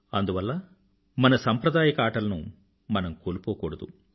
అందువల్ల మన సంప్రదాయక ఆటలను మనం కోల్పోకూడదు